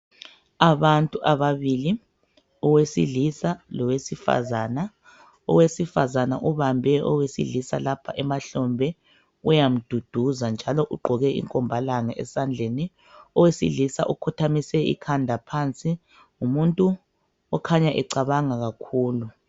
Abantu ababili. Owesilisa lowesifazana. Owesifazana ubambe owesilisa lapha emahlombe. Uyamduduza, njalo ugqoke inkombalanga, esandleni. Owesilisa ukhothamise ikhanda phansi. Ngumuntu okhanya cabanga kakhulu.